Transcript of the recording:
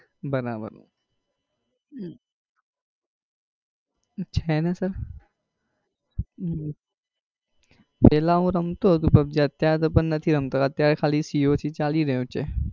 બરાબર છે ને sir! પેલા હું રમતો હતો pubg અત્યારે તો નઈ રમતો અત્યારે ખાલી cog ચાલી રહ્યો છે.